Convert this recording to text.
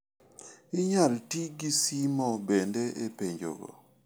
Inyal ti gi simo bende e penjogo.